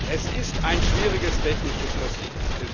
Es ist ein schwieriges technisches Dossier.